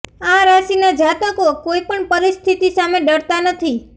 આ રાશિના જાતકો કોઈ પણ પરિસ્થિતિ સામે ડરતા નથી